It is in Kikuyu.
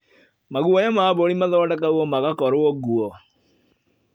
Maguoya ma mbũri mathondekagwo magakorwo nguo.